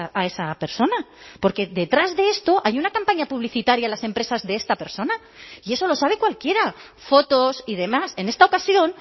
a esa persona porque detrás de esto hay una campaña publicitaria a las empresas de esta persona y eso lo sabe cualquiera fotos y demás en esta ocasión